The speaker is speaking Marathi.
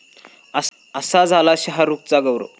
असा झाला शाहरुखचा 'गौरव'!